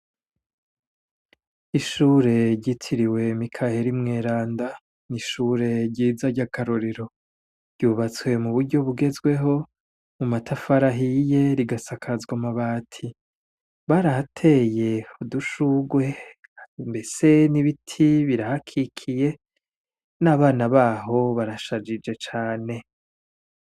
Ishure ry' isomero ryitiriwe Joseph Mweranda, n' ishure ryiza rya karorero ryubatswe n' amatafar' ahiye muburyo bugezweho risakajwe n' amabati, barahatey' udushurwe mbese n' ibiti birahakikuje n' abana baho barashajije basa neza, bambay' umwambaro w' ishur' ubaranga, hejuru mu kirere har' ibicu bisa neza.